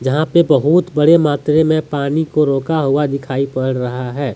यहां पे बहुत बड़े मात्रे में पानी को रोका हुआ दिखाई पड़ रहा है।